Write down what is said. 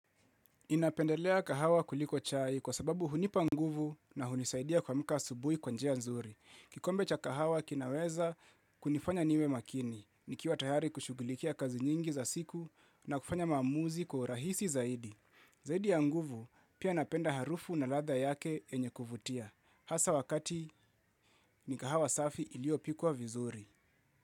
Ninapendelea kahawa kuliko chai kwa sababu hunipa nguvu na hunisaidia kuamuka asubui kwa njia nzuri. Kikombe cha kahawa kinaweza kunifanya niwe makini, nikiwa tayari kushugulikia kazi nyingi za siku na kufanya maamuzi kwa urahisi zaidi. Zaidi ya nguvu pia napenda harufu na ladha yake yenye kuvutia. Hasa wakati ni kahawa safi iliopikwa vizuri.